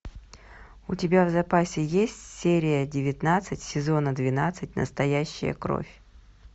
у тебя в запасе есть серия девятнадцать сезона двенадцать настоящая кровь